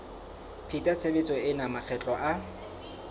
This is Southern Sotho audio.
pheta tshebetso ena makgetlo a